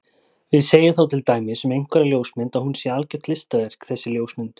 Við segjum þá til dæmis um einhverja ljósmynd að hún sé algjört listaverk þessi ljósmynd.